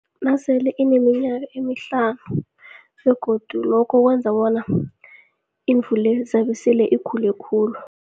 Nasele ineminyaka emihlanu begodu lokho kwenza bona imvu le zabe sele ikhule khulu.